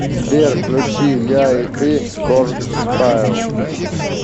сбер включи я и ты коргстайл